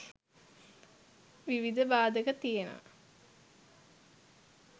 විවිධ බාධක තියනවා.